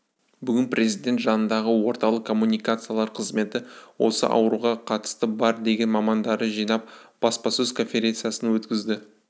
бүгін президент жанындағы орталық коммуникациялар қызметі осы ауруға қатысы бар деген мамандарды жинап баспасөз конференциясын өткізді